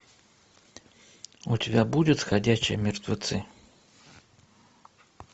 у тебя будет ходячие мертвецы